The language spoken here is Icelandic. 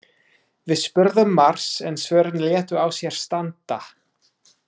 Við spurðum margs en svörin létu á sér standa.